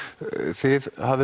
þið hafið